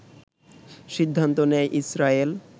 সিদ্ধান্ত নেয় ইসরায়েল